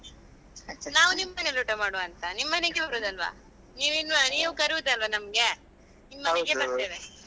ನಾವು ನಿಮ್ಮನೇಲಿ ಊಟ ಮಾಡುವ ಅಂತ ನಿಮ್ಮನೆಗೆ ಬರುದಲ್ವಾ ನೀವು inv~ ನೀವ್ ಕರೆಯುದಲ್ವಾ ನಮ್ಗೆ ನಿಮ್ಮನೆಗೆ ಬರ್ತೇವೆ.